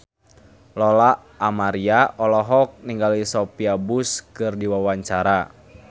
Lola Amaria olohok ningali Sophia Bush keur diwawancara